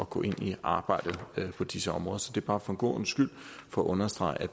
gå ind i arbejdet på disse områder så det er bare for god ordens skyld for at understrege at